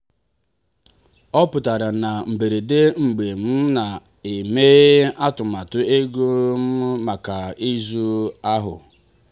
ọ pụtara na mberede mgbe m na-eme atụmatụ ego m maka izu ahụ.